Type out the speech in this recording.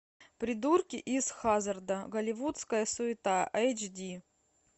придурки из хаззарда голливудская суета эйч ди